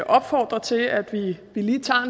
opfordre til at vi lige